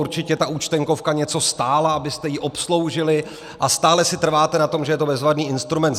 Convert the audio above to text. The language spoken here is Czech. Určitě ta Účtenkovka něco stála, abyste ji obsloužili, a stále si trváte na tom, že je to bezvadný instrument.